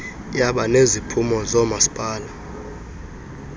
yaba neziphumo zoomasipala